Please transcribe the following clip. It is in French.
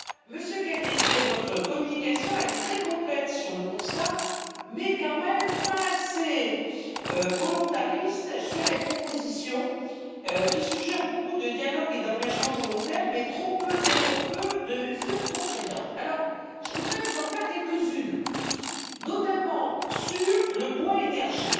Monsieur Cañete, votre communication est très complète sur le constat, mais quand même pas assez volontariste sur les propositions, qui suggèrent beaucoup de dialogue et d'engagements volontaires, mais trop peu, bien trop peu de mesures contraignantes. Je voudrais vous en faire quelques unes, notamment sur le bois énergie.